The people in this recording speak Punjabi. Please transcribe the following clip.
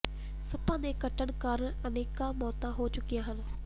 ਸੱਪਾਂ ਦੇ ਕੱਟਣ ਕਾਰਨ ਅਨੇਕਾਂ ਮੌਤਾਂ ਹੋ ਚੁੱਕੀਆਂ ਹਨ